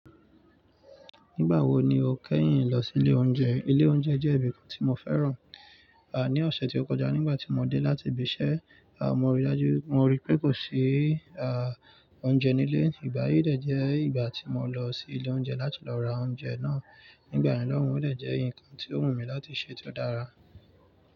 Nígbà wo ni o kẹ́yìn lọ sí ilé oúnjẹ? Ilé oúnjẹ jẹ́ ibì kan tí mo fẹ́ràn. À, ní ọ̀sẹ̀ tí ó kọjá nígbà tí mo dé láti ibi iṣẹ́, à mo rí dájú, mo rí pé kò sí à oúnjẹ nílé. Ìgbà yí dẹ̀ jẹ́ ìgbà tí mo lọ sí ilé oúnjẹ láti lọ ra oúnjẹ náà. Nígbà yen naa, òun yóò dẹ̀ jẹ́ ǹkan tí ó wù mí láti ṣe tí ó dára.